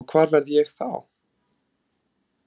Og hvar verð ég þá?